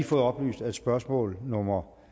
fået oplyst at spørgsmål nummer